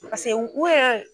u yɛrɛ.